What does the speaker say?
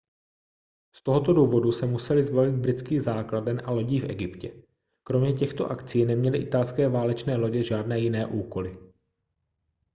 z tohoto důvodu se museli zbavit britských základen a lodí v egyptě kromě těchto akcí neměly italské válečné lodě žádné jiné úkoly